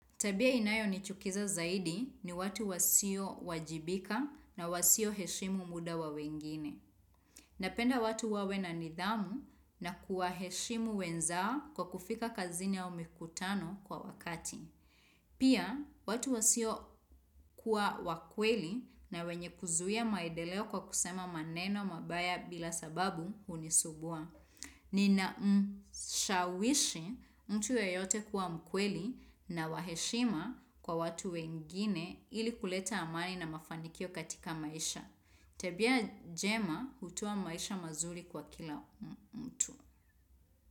Tabia inayonichukiza zaidi ni watu wasio wajibika na wasio heshimu muda wa wengine. Napenda watu wawe na nidhamu na kuwaheshimu wenzao kwa kufika kazini au mikutano kwa wakati. Pia, watu wasio kuwa wakweli na wenye kuzuia maedeleo kwa kusema maneno mabaya bila sababu hunisumbua. Ni na mshawishi mtu yeyote kuwa mkweli na wa heshima kwa watu wengine ili kuleta amani na mafanikio katika maisha. Tabia jema hutoa maisha mazuri kwa kila mtu.